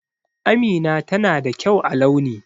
Amina tana da kyau a launi.